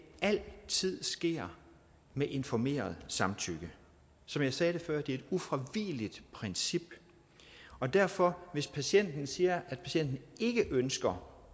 altid sker med informeret samtykke som jeg sagde det før er det et ufravigeligt princip og derfor hvis patienten siger at patienten ikke ønsker